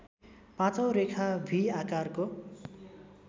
पाँचौँ रेखा भि आकारको